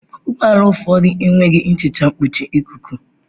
Ụgbọ ala ụfọdụ enweghị nhicha mkpuchi ikuku.